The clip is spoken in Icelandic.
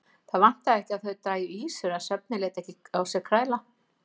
Það vantaði ekki að þau drægju ýsur en svefninn lét ekki á sér kræla.